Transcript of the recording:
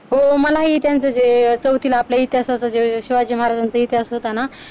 हो मलाही त्यांचं जे चौथीला आपल्या इतिहासाचा शिवाजी महाराजांचा इतिहास होता ना